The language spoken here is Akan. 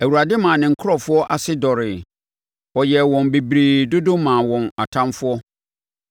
Awurade maa ne nkurɔfoɔ ase dɔreeɛ; ɔyɛɛ wɔn bebree dodo maa wɔn atamfoɔ,